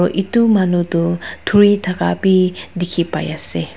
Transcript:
etu manu tu thuri thaka bhi dekhi pai ase.